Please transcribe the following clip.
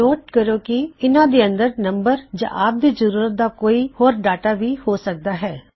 note ਕਰ ਲੋ ਕੀ ਇਹ ਨੰਬਰਜ ਵੀ ਹੋ ਸਕਦੇ ਨੇ ਯਾ ਇਸ ਦੇ ਅੰਦਰ ਜੋ ਵੀ ਡਾਟਾ ਤੁਹਾਨੂੰ ਚਾਹੀਦਾ ਹੈ